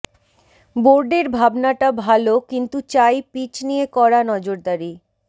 বোর্ডের ভাবনাটা ভাল কিন্তু চাই পিচ নিয়ে কড়া নজরদারি